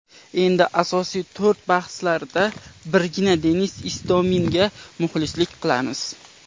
Endi asosiy to‘r bahslarida birgina Denis Istominga muxlislik qilamiz.